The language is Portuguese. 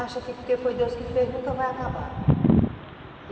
Acham que porque foi Deus que fez, nunca vai acabar.